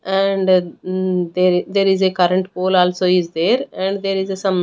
And mm there there is a current pole also is there and there is a some --